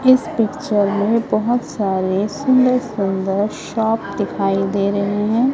इस पिक्चर में बहोत सारे सुंदर सुंदर शॉप दिखाई दे रहे हैं।